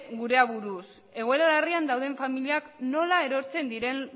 gure aburuz egoera larrian dauden familiak nola erortzen diren